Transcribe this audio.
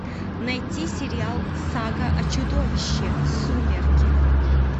найти сериал сага о чудовище сумерки